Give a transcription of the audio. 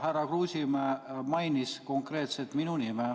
Härra Kruusimäe mainis konkreetselt minu nime.